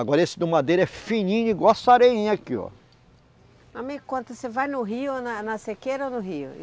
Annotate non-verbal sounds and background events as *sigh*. Agora esse do madeira é fininho igual essa areinha aqui, ó. Amigo, quanto... Você vai no rio ou na sequeira ou no rio? *unintelligible*